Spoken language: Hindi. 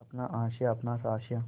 अपना आशियाँ अपना आशियाँ